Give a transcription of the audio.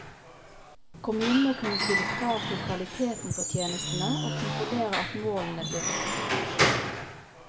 Kommunen må kunne stille krav til kvaliteten på tjenestene og kontrollere at målene blir oppfylt.